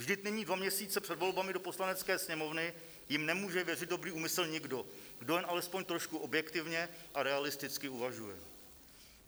Vždyť nyní, dva měsíce před volbami do Poslanecké sněmovny, jim nemůže věřit dobrý úmysl nikdo, kdo jen alespoň trošku objektivně a realisticky uvažuje.